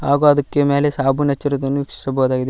ಹಾಗು ಅದಕ್ಕೆ ಮೇಲೆ ಸಾಬೂನ್ ಹಚ್ಚಿರುವುದನ್ನು ವೀಕ್ಷಿಸಬಹುದಾಗಿದೆ.